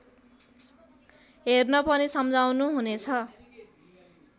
हेर्न पनि सम्झाउनुहुनेछ